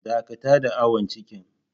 Dakata da awon cikin.